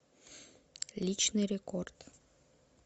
личный рекорд